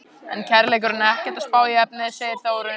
En kærleikurinn er ekkert að spá í efnið, segir Þórunn.